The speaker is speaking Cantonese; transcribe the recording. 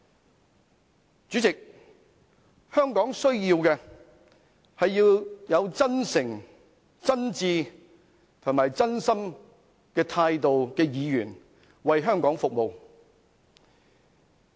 代理主席，香港需要的是抱持真誠、真摯和真心態度的議員為香港服務。